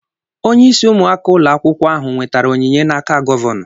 Onyeisi ụmụaka ụlọ akwụkwọ ahụ nwetara onyinye n'aka Gọvanọ.